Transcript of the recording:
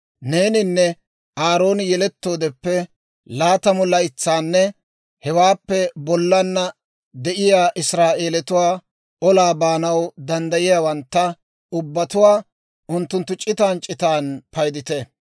Neeninne Aarooni yelettoodeppe laatamu laytsanne hewaappe bollana de'iyaa Israa'eelatuwaa, olaa baanaw danddayiyaawantta ubbatuwaa, unttunttu c'itan c'itan paydite.